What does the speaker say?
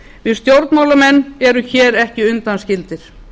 við stjórnmálamenn erum hér ekki undanskildir